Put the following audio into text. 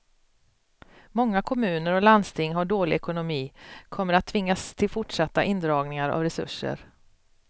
Många kommuner och landsting har dålig ekonomi, kommer att tvingas till fortsatta indragningar av resurser.